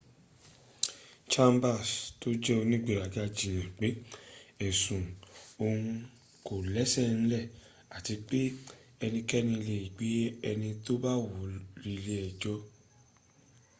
chambers tó jẹ́ onígberaga jiyàn pé ẹ̀sùn òhun kò lẹ́sẹ̀ ńlẹ̀ àti pé ẹnikẹ́ni lè gbé ẹni tó bá wùú relé ẹjọ́